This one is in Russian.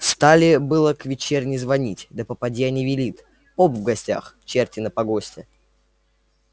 стали было к вечерне звонить да попадья не велит поп в гостях черти на погосте